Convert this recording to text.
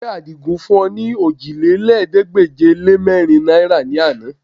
Ṣé Àdìgún fún ọ ní ọòjìlélẹ́ẹ̀ẹ́dégbèje-lé-mẹ́rin náìrà ní àná?